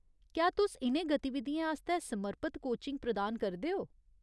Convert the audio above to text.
क्या तुस इ'नें गतिविधियें आस्तै समर्पत कोचिंग प्रदान करदे ओ ?